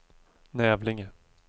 Nävlinge